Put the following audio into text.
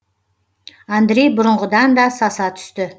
андрей бұрынғыдан да саса түсті